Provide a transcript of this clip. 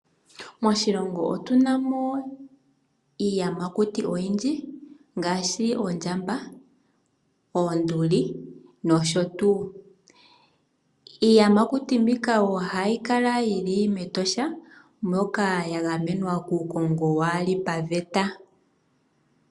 Moshilongo otuna mo iiyamakuti oyindji ngaashi oondjamba, oonduli nosho tuu. Iiyamakuti mbika ohayi kala yili mEtosha, moka ya gamenwa kuukongo kawu li paveta.